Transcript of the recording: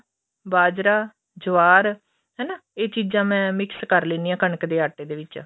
ਬਾਜਰਾ ਜਵਾਰ ਹਨਾ ਇਹ ਚੀਜਾਂ ਮੈਂ mix ਕਰ ਲੈਨੀ ਆਂ ਕਣਕ ਦੇ ਆਟੇ ਦੇ ਵਿੱਚ